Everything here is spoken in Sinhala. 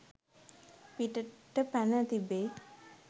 පිටට පැන තිබේ